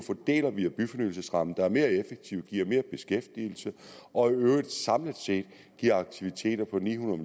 via byfornyelsesrammen der er mere effektiv giver mere beskæftigelse og i øvrigt samlet set giver aktiviteter på ni hundrede